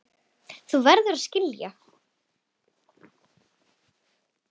Þú verður að skilja.